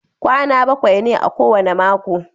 Kwana bakwai ne a kowane mako.